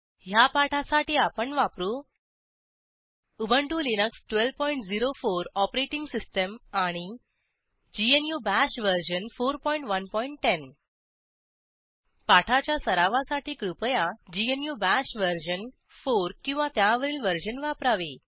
ह्या पाठासाठी आपण वापरू उबंटु लिनक्स 1204 ओएस आणि ग्नू बाश वर्जन 4110 पाठाच्या सरावासाठी कृपया ग्नू बाश वर्जन 4 किंवा त्यावरील वर्जन वापरावे